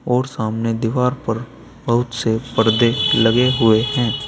और सामने दीवार पर बहुत से पर्दे लगे हुए हैं।